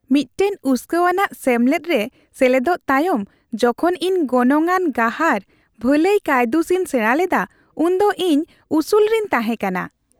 ᱢᱤᱫᱴᱟᱝ ᱩᱥᱠᱟᱹᱣᱟᱱᱟᱜ ᱥᱮᱢᱞᱮᱫ ᱨᱮ ᱥᱮᱞᱮᱫᱚᱜ ᱛᱟᱭᱚᱢ, ᱡᱚᱠᱷᱚᱱ ᱤᱧ ᱜᱚᱱᱚᱝ ᱟᱱ ᱜᱟᱦᱟᱨ ᱵᱷᱟᱹᱞᱟᱹᱭ ᱠᱟᱹᱭᱫᱩᱥ ᱤᱧ ᱥᱮᱲᱟ ᱞᱮᱫᱟ ᱩᱱ ᱫᱚ ᱤᱧ ᱩᱥᱩᱞ ᱨᱤᱧ ᱛᱟᱦᱮᱸ ᱠᱟᱱᱟ ᱾